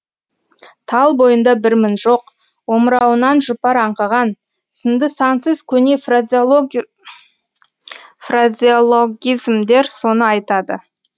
тал бойында бір мін жоқ омырауынан жұпар аңқыған сынды сансыз көне фразеологизмдер соны айтады